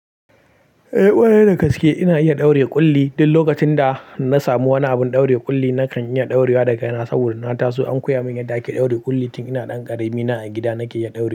Eh, ƙwarai da gaske ina iya ɗaure ƙulli. Duk lokacin da na samu wani abin ɗaure ƙulli nakan iya ɗaurewa da kaina saboda na taso an koya mun yadda ake ɗaure ƙulli tun ina ɗan ƙarami. Ina a gida nake iya ɗaure.